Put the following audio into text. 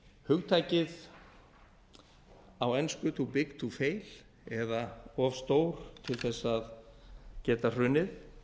hugtakið á ensku to big to fail eða of stór til að geta hrunið